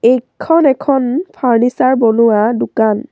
এইখন এখন ফাৰ্ণিচাৰ বনোৱা দোকান।